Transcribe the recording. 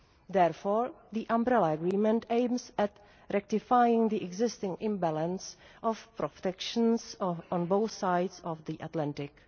Therefore, the Umbrella Agreement aims at rectifying the existing imbalance of protections on both sides of the Atlantic.